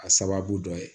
A sababu dɔ ye